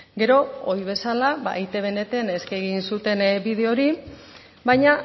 gero oi bezala ba eitbn eskegi egin zuten bideo hori baina